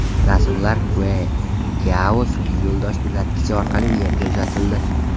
Rasmlar Queqiao sun’iy yo‘ldosh uzatgichi orqali Yerga uzatildi.